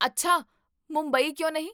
ਅੱਛਾ, ਮੁੰਬਈ ਕਿਉਂ ਨਹੀਂ?